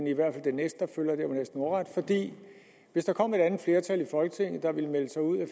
i hvert fald næsten ordret fordi hvis der kom et andet flertal i folketinget der ville melde sig ud af